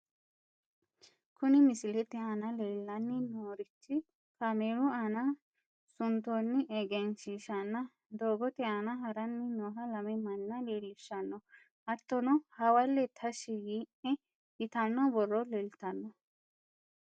Kuni misilete aana leellanni noorichi kaameelu aana suntoonni egenshiishshanna, doogote aana haranni nooha lame manna leellishshanno hattono hawalle tashshi yii'ne yitanno borro leeltanno.